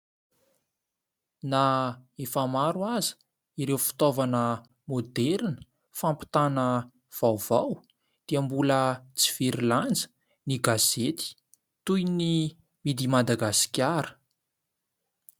Na efa maro aza ireo fitaovana moderina fampitana vaovao dia mbola tsy very lanja ny gazety toy ny midimadagasikara.